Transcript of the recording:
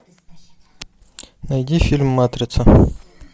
найди фильм матрица